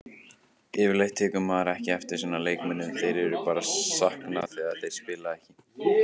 Yfirleitt tekur maður ekki eftir svona leikmönnum, þeirra er bara saknað þegar þeir spila ekki.